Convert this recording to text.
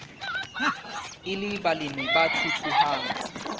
e le balemi ba thuthuhang